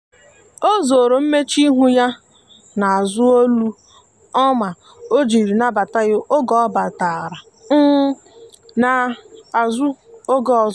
o zoro mmechuihu ya na azu olu ọma ojiri nabata ya oge ọ batara um na azụ oge ọzọ